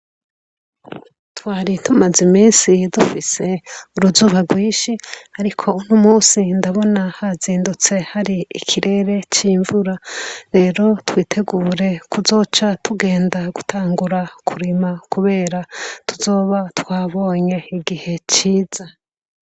Twari tumaze iminsi dufise uruzuba rwinshi ariko unomusi hazindutse hari ikirere cimvura rero twitegure kuzoca tugenda gutangura kurima kubera tuzoba twabonye igihe ciza